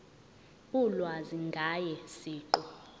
ulwazi ngaye siqu